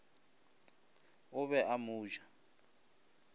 o be a mo ja